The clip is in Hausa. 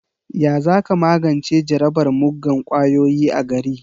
Ya za ka magance jarabar muggan ƙwayoyi a gari?